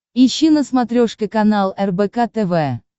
ищи на смотрешке канал рбк тв